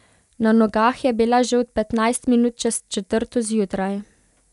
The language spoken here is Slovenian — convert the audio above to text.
Na nogah je bila že od petnajst minut čez četrto zjutraj.